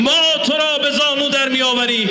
Biz səni dizə çökdürəcəyik.